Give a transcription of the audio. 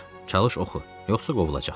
Çalış oxu, yoxsa qovulacaqsan.